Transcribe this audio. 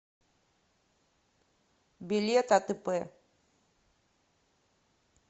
билет атп